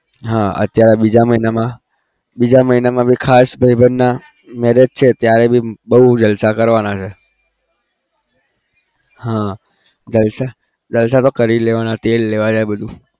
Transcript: હા અત્યારે બીજા મહિનામાં બીજા મહિનામાં भी ખાસ ભાઈબંધના marriage છે ત્યારે भी બહુ જલસા કરવાના છે હા જલસા જલસા તો કરી જ લેવાના તેલ લેવા જાય બધું